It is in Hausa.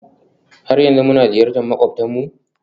har yanzu muna ziyartar makwabtanmu?